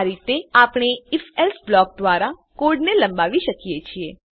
આ રીતે આપણે IfElse બ્લોક દ્વારા કોડને લંબાવી શકીએ છીએ